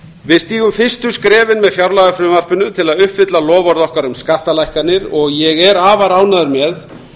við stígum fyrstu skrefin með fjárlagafrumvarpinu til að uppfylla loforð okkar um skattalækkanir og ég er afar ánægður með